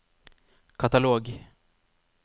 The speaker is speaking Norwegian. katalog